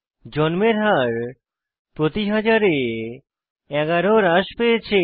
জন্মের হার প্রতি হাজারে 11 হ্রাস পেয়েছে